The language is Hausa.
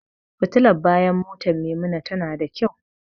Fitilar bayan motar Maimuna tana da kyau.